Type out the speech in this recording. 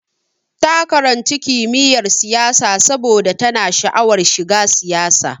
Ta karanci kimiyyar siyasa saboda tana sha'awar shiga siyasa.